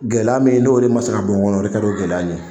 Gɛlɛya min n'o de ma se ka bɔ n kɔnɔ, la de kɛr'o gɛlɛya ye.